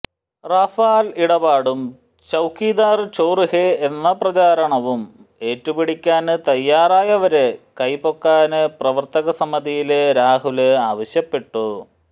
Rafale ഇടപാടും ചൌക്കിദാര് ചോര് ഹെ എന്ന പ്രചാരണവും ഏറ്റുപിടിക്കാന് തയാറയവര് കൈ പൊക്കാന് പ്രവര്ത്തക സമിതിയില് രാഹുല് ആവശ്യപ്പെട്ടു